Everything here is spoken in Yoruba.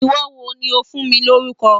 Àwọn wo ni ó fún mi lórúkọ?